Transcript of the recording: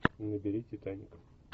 набери титаник